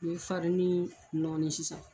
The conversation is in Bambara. I bɛ farini nɔɔni sisan.